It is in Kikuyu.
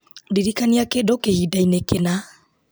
ndirikania kĩndũ kĩhinda-inĩ kĩna